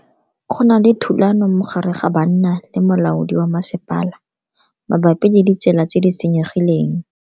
Go na le thulano magareng ga banna le molaodi wa masepala mabapi le ditsela tse di senyegileng.